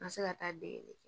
N ka se ka taa degeli kɛ